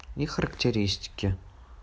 и характеристики